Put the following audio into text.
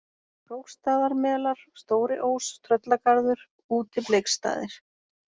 Krókstaðarmelar, Stóri-Ós, Tröllagarður, Útibleiksstaðir